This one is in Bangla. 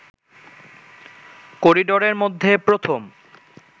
কড়িডোরের মধ্যে প্রথম